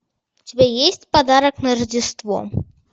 у тебя есть подарок на рождество